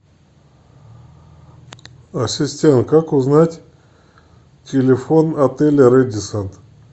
ассистент как узнать телефон отеля рэдиссон